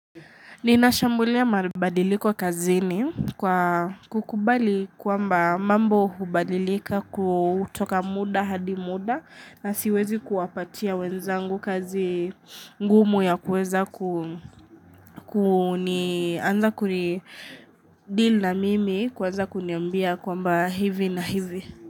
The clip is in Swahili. Ninashambulia mabadiliko kazini kwa kukubali kwamba mambo hubadilika kutoka mda hadi mda na siwezi kuwapatia wenzangu kazi ngumu ya kuweza ku kunianza kurideal na mimi kuweza kuniambia kwamba hivi na hivi.